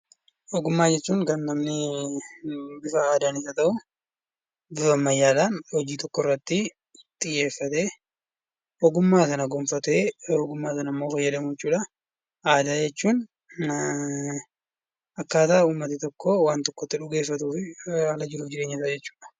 Ogummaa jechuun kan namni bifa aadaanis haa ta'u, bifa ammayyaadhaan hojii tokkorratti xiyyeefatee ogummaa sana gonfatee ogummaa sanammoo fayyadamuu jechuudha. Aadaa jechuun akkaataa uummati tokko waa tokko itti dhugeeffatufi haala jiruuf jireenyasaa jechuudha.